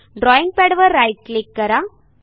ड्रॉईंगपॅडवर right click करा